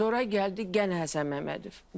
Sonra gəldi yenə Həsən Məmmədov.